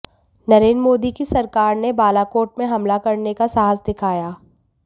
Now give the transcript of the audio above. नरेंद्र मोदी की सरकार ने बालाकोट में हमला करने का साहस दिखाया